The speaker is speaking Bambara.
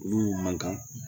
Olu man kan